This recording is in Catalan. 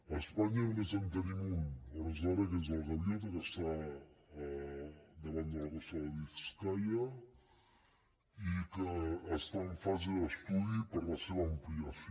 a espanya només en tenim un a hores d’ara que és el gaviota que està davant de la costa de biscaia i que està en fase d’estudi per a la seva ampliació